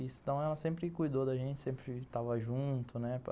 Então ela sempre cuidou da gente, sempre estava junto, né.